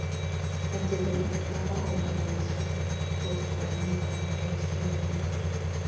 іздедім таба алмай аласұрдым жұлдыздардың таң ата өшкенінен